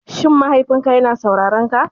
Shin mahaifinka yana saurarenka?